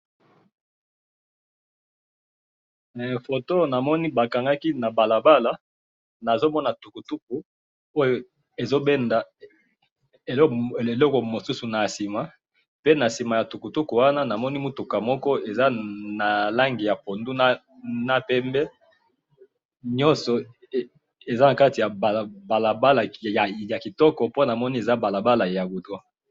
Namoni balabala ya kitoko ya goudron na tukutuku ezo benda eloko na sima, na mutuka ya langi ya pondu na pembe.